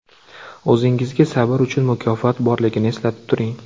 O‘zingizga sabr uchun mukofot borligini eslatib turing.